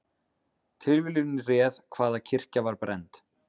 Tilviljun réð hvaða kirkja var brennd